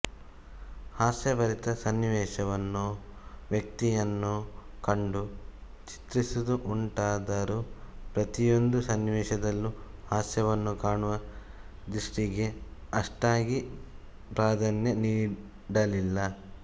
ಹಾಸ್ಯಭರಿತ ಸನ್ನಿವೇಶ ವನ್ನೋ ವ್ಯಕ್ತಿಯನ್ನೋ ಕಂಡು ಚಿತ್ರಿಸುತ್ತಿದ್ದುದುಂಟಾದರೂ ಪ್ರತಿಯೊಂದು ಸನ್ನಿವೇಶದಲ್ಲೂ ಹಾಸ್ಯವನ್ನು ಕಾಣುವ ದೃಷ್ಟಿಗೇ ಅಷ್ಟಾಗಿ ಪ್ರಾಧಾನ್ಯ ನೀಡಲಿಲ್ಲ